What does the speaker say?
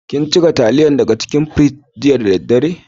Kin cire talliyan daga cikin firiji jiya da dare?